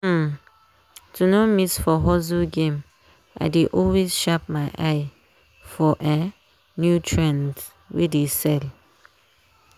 um to no miss for hustle game i dey always sharp my eye for um new trends wey dey sell.